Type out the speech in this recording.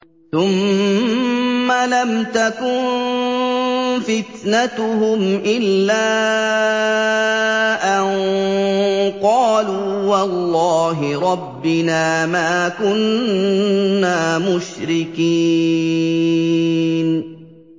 ثُمَّ لَمْ تَكُن فِتْنَتُهُمْ إِلَّا أَن قَالُوا وَاللَّهِ رَبِّنَا مَا كُنَّا مُشْرِكِينَ